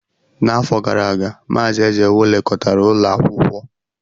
N'afọ gara aga, Mazị Ezewu lekọtara ụlọ akwụkwọ.